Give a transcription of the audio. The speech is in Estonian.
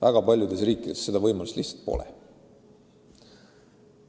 Väga paljudes maades seda võimalust lihtsalt pole.